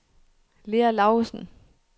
Lea Laugesen